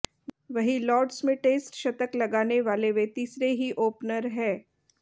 वहीं लॉर्ड्स में टेस्ट शतक लगाने वाले वे तीसरे ही ओपनर हैं